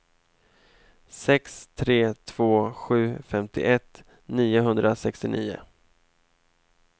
sex tre två sju femtioett niohundrasextionio